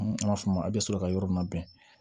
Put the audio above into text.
N b'a f'a ma a bɛ sɔrɔ ka yɔrɔ min na bɛn